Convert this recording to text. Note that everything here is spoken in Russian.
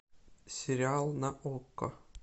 сериал на окко